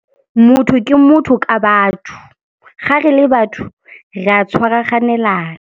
Motho ke motho ka batho, gare le batho re a tshwaraganelana.